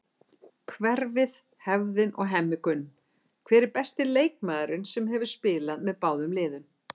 Hverfið, hefðin og Hemmi Gunn Hver er besti leikmaðurinn sem hefur spilað með báðum liðum?